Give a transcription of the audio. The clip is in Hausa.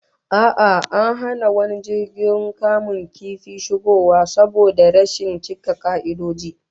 A'a, an hana wani jirgin kamun kifi shigowa saboda rashin cika ka'idoji